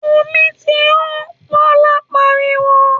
‘Omi ti hó!’, Bó̩lá pariwo